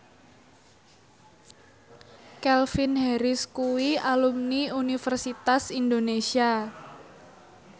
Calvin Harris kuwi alumni Universitas Indonesia